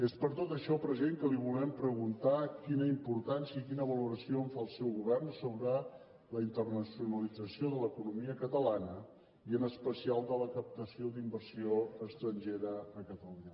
és per tot això president que li volem preguntar quina importància i quina valoració fa el seu govern sobre la internacionalització de l’economia catalana i en especial de la captació d’inversió estrangera a catalunya